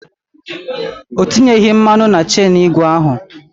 O tinyeghi mmanụ na chenụ igwe ahụ.